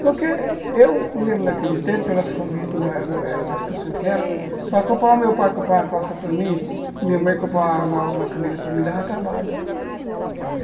Porque eu lembro naquele tempo, que a nossa família não não era, da situação que era, para comprar, para o meu pai comprar uma calça para mim, minha mãe comprar uma camisa para mim, dava trabalho.